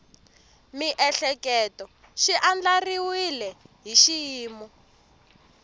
miehleketo swi andlariwile hi xiyimo